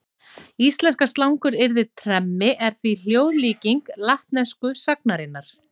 Íslenska slanguryrðið tremmi er því hljóðlíking latnesku sagnarinnar.